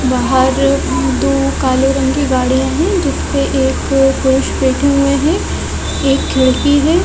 बाहर दो काले रंग की गाड़ियां है जिसपे एक बैठे हुए है एक खिड़की है।